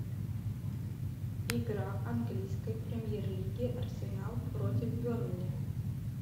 игра английской премьер лиги арсенал против бернли